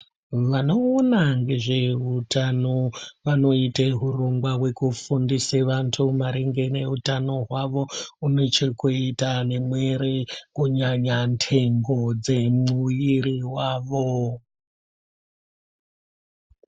Vanoona ngezve utano vanoita hurongwa hwekufundise vantu maringe neutano hwavo unechekuita nemwiri kunyanya ndengo dzemwiri wavo